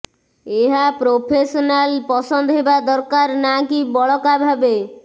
ଏହା ପ୍ରୋଫେସନାଲ ପସନ୍ଦ ହେବା ଦରକାର ନା କି ବଳକା ଭାବେ